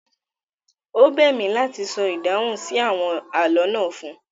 Ó bẹ̀ mí láti sọ ìdáhùn sí àwọn àlọ́ náà fún